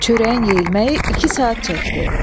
Çörəyin yeyilməyi iki saat çəkdi.